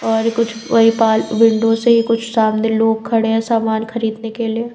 और कुछ वही पाल विंडो से ही कुछ सामने लोग खड़े हैं सामान खरीदने के लिए।